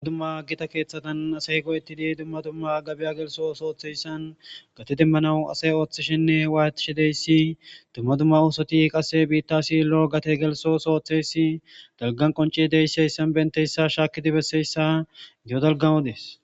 Dmadumma gita keeththatan asay go'etti di dumma dumma gabiya gelso sooththeyssan gate demmanau asay ooththishinne waaytishi deyssi dumma dumma uosoti qase biitta sillo gate gelso sooththeysi dalgan qonci deysseyssan benteyssa shaaki dibesseyssa geo dalgamodees.